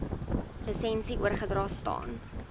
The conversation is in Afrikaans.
lisensie oorgedra staan